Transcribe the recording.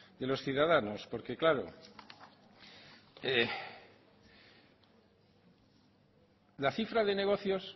de los ciudadanos porque claro la cifra de negocios